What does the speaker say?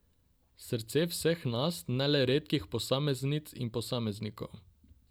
Srca vseh nas, ne le redkih posameznic in posameznikov.